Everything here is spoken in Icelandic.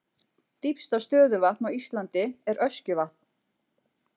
Dýpsta stöðuvatn á Íslandi er Öskjuvatn.